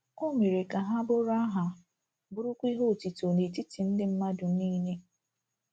O mere ka ha “ bụrụ aha, bụrụkwa ihe otuto n’etiti ndị mmadụ niile. ”